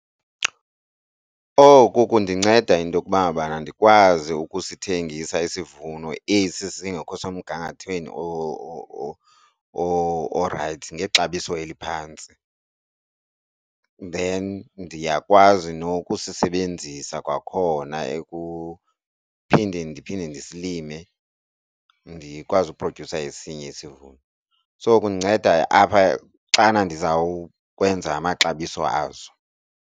Oku kundinceda intokuba ngabana ndikwazi ukusithengisa isivuno esi singekho semgangathweni orayithi ngexabiso eliphantsi, then ndiyakwazi nokusisebenzisa kwakhona ekuphindeni ndiphinde ndisilime, ndikwazi uphrodyusa esinye isivuno. So, kundinceda apha xana ndizawukwenza amaxabiso aso.